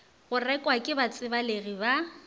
go rekwa ke batsebalegi ba